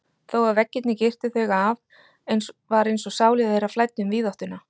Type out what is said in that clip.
Þó að veggirnir girtu þau af var einsog sálir þeirra flæddu um víðáttuna.